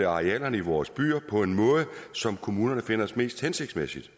arealerne i vores byer på en måde som kommunerne finder mest hensigtsmæssig